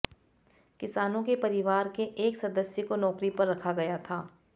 किसानों के परिवार के एक सदस्य को नौकरी पर रखा गया था